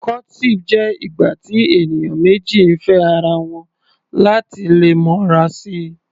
Courtship jẹ́ ìgbà tí ènìyàn méjì ń fẹ́ ara wọn láti lè mọra si.